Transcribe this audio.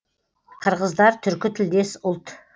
қырғыздар түркі тілдес ұлт